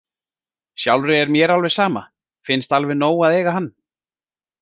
Sjálfri er mér alveg sama, finnst alveg nóg að eiga hann.